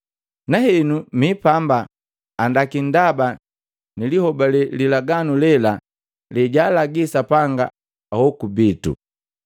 Nahenu mipamba andaki ndaba nilihobale lilaganu lela lejaalagi Sapanga ahoku bito.